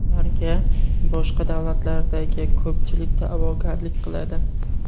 Ularga boshqa davlatlardagi ko‘pchilik da’vogarlik qiladi.